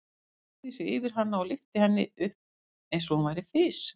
Hann beygði sig yfir hana og lyfti henni upp eins og hún væri fis.